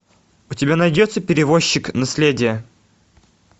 у тебя найдется перевозчик наследие